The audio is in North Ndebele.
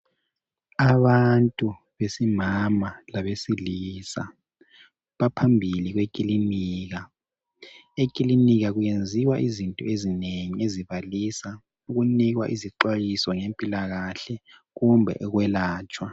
Abantu besifazana labesilisa baphambili kwekilinika ekilinika kuyenziwa izinto ezinengi ezibalisa ukunikwa izixhwayiso ngempilakahle kumbe ukwelatshwa.